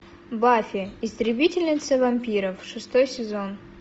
баффи истребительница вампиров шестой сезон